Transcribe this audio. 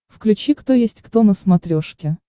включи кто есть кто на смотрешке